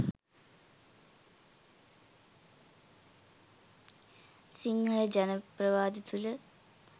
සිංහල ජන ප්‍රවාද තුල